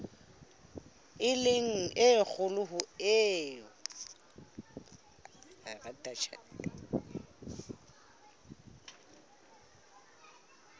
e le kgolo ho eo